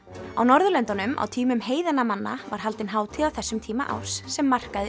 á Norðurlöndunum á tímum heiðinna manna var haldin hátíð á þessum tíma árs sem markaði